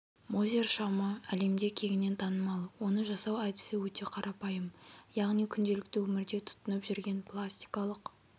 мозер шамы әлемде кеңінен танымал оны жасау әдісі өте қарапайым яғни күнделікті өмірде тұтынып жүрген пластикалық